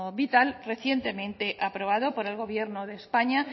vital recientemente aprobado por el gobierno de españa